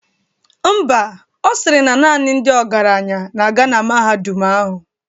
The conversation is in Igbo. Ḿbà, Ọ sịrị na naanị ndị ọgaranya na-aga na mahadum ahụ.